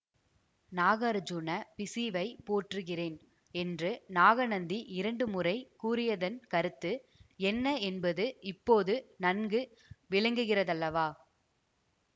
நாகார்ஜுன பிஷுவைப் போற்றுகிறேன் என்று நாகநந்தி இரண்டுமுறை கூறியதன் கருத்து என்ன என்பது இப்போது நன்கு விளங்குகிறதல்லவா